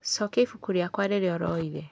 Cokia ibuku rĩakwa rĩrĩa ũroire